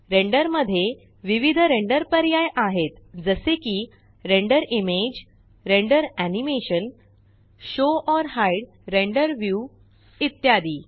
render मध्ये विविध render पर्याय आहेत जसे की render image render animation show or hide render view इत्यादी